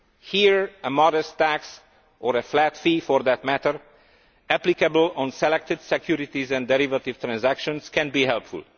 Here a modest tax or a flat fee, for that matter, applicable on selected securities and derivative transactions can be helpful.